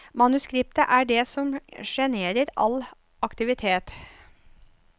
Manuskriptet er det som generer all aktivitet.